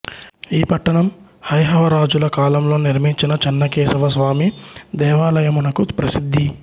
ఈ పట్టణం హైహవ రాజుల కాలంలో నిర్మించిన చెన్నకేశవస్వామి దేవాలయమునకు ప్రసిద్ధి